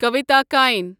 کویتا کَین